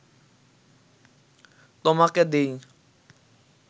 তোমাকে দিই